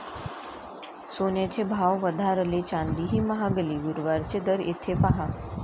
सोन्याचे भाव वधारले, चांदीही महागली. गुरुवारचे दर इथे पाहा